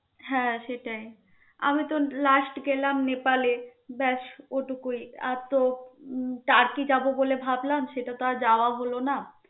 হ্যা সেটাই. আমি তো last গেলাম নেপালে. ব্যস ওটুকুই আর তো তার্কি যাব বলে ভাবলাম আর তো যাওয়া হল না.